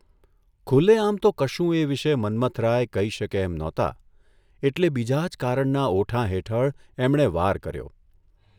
ખુલ્લેઆમ તો કશું એ વિશે મન્મથરાય કહી શકે એમ નહોતા એટલે બીજા જ કારણના ઓઠાં હેઠળ એમણે વાર કર્યો.